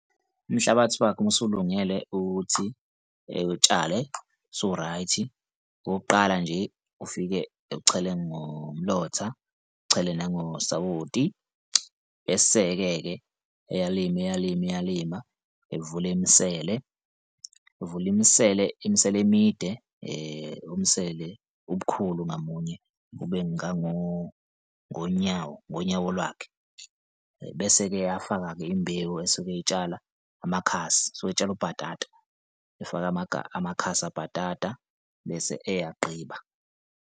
Umhlabathi wakhe uma usulungele ukuthi ewutshale sowu-right-i. Okokuqala nje, ufike ewuchele ngomlomotha, echele nangosawoti, bese-ke-ke eyalima, eyalima, eyalima evule imisele, evule imisele, imisele emide umsele ubukhulu ngamunye ube ngonyawo, ngonyawo lakhe bese-ke eyafaka-ke imbewu esuke eyitshala amakhasi usuke etshala ubhatata, efake amakhasi obhatata bese eyagqiba.